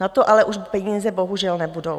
Na to ale už peníze bohužel nebudou.